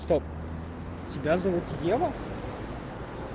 стоп тебя зовут ева